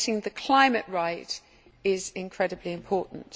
Getting the climate right is incredibly important.